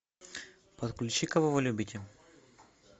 подключи кого вы любите